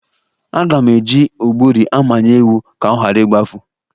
Aga m eji ọgbụrị amaye ewu ka ọ ghara igbafu.